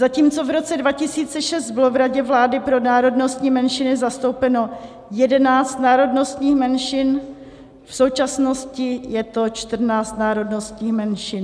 Zatímco v roce 2006 bylo v Radě vlády pro národnostní menšiny zastoupeno 11 národnostních menšin, v současnosti je to 14 národnostních menšin.